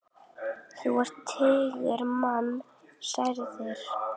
Þá eru tugir manna særðir.